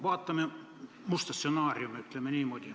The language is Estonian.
Vaatame musta stsenaariumi, ütleme niimoodi.